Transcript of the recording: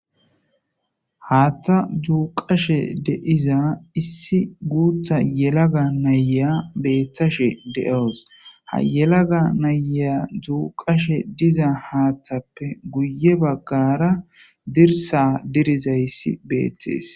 Haatha duuqashe de'iza issi guutha yelaga na'iya beetawus. Haatha duuqiza nayippe guye baggara dirsa diriza bitaney beetees.